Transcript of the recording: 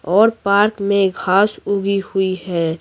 और पार्क में घास उगी हुई है।